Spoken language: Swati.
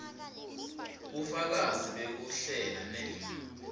bufakazi bekuhlela ne